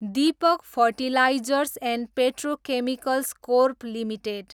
Deepak fertilizers and petrochemicals corp limited